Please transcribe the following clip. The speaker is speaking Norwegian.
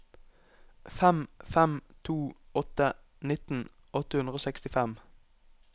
fem fem to åtte nitten åtte hundre og sekstifem